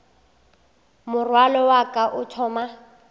morwalo wa ka o thoma